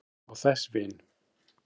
þeim og þess vin.